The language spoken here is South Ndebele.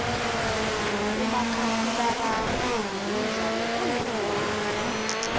umakhakhulararhwe mdlalo oyingozi